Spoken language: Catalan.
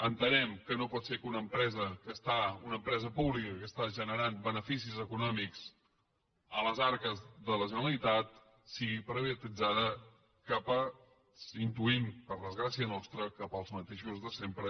entenem que no pot ser que una empresa pública que està generant beneficis econòmics a les arques de la generalitat sigui privatitzada intuïm per desgràcia nostra cap als mateixos de sempre